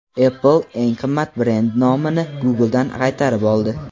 Apple eng qimmat brend nomini Google’dan qaytarib oldi.